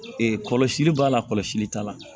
kɔlɔsili b'a la kɔlɔsili t'a la